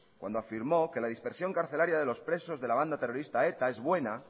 cuando afirmó que la dispersión carcelaria de los presos de la banda terrorista eta es buena